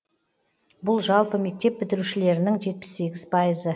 бұл жалпы мектеп бітірушілерінің жетпіс сегіз пайызы